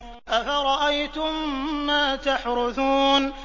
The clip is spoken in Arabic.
أَفَرَأَيْتُم مَّا تَحْرُثُونَ